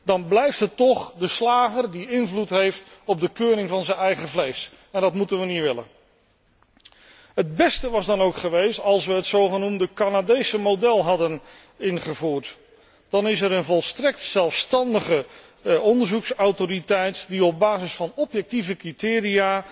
Dan blijft het toch de slager die invloed heeft op de keuring van zijn eigen vlees, en dat mag ons doel niet zijn. Het beste was dan ook geweest als wij het zogenoemde Canadese model hadden ingevoerd. Dan is er een volstrekt zelfstandige onderzoeksautoriteit die op basis van objectieve criteria